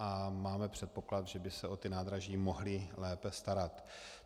A máme předpoklad, že by se o ta nádraží mohli lépe starat.